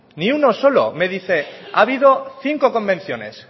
ni uno solo me dice que ha habido cinco convenciones